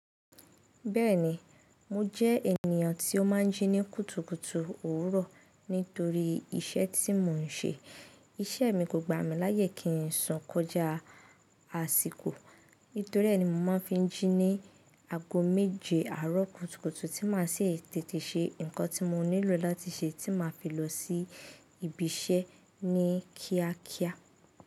Bẹ́ẹ̀ni mo jẹ́ ènìyàn tí ó máa ń jí ní kùtùkùtù òwúrọ̀ nítorí iṣẹ́ tí mo ń ṣe. Iṣẹ́ mi kò gbà mí láyè kí n sun kọjá àsìkò. Nítorí ẹ́ ni mo máa ń fi jí ní ago méje àárọ̀ kùtùkùtù tí màá sì tètè ṣe nǹkan tí mo nílò láti ṣe tí màá fi lọ sí ibi iṣẹ́ ní kíákíá.